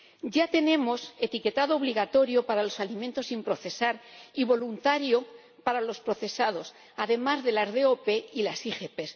Ya tenemos etiquetado obligatorio para los alimentos sin procesar y voluntario para los procesados, además de las DOP y las IGP.